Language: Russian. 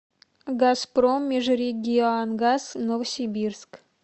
газпром межрегионгаз новосибирск